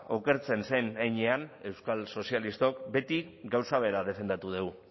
okertzen zein heinean euskal sozialistok beti gauza bera defendatu dugu